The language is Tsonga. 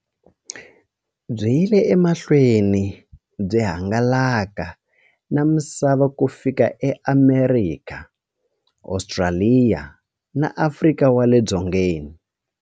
Byi yile emahlweni byi hangalaka na misava ku fika eAmerika, Ostraliya na Afrika wale dzongeni.